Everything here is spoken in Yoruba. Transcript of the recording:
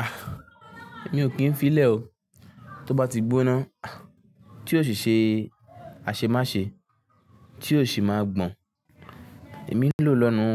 Ah! Mi ò kín fi lẹ̀ o, tó bá ti gbóná, tí ò sì ṣe a ṣe má ṣe, tí ò sì má gbọn. Èmi n lò lọ́nu,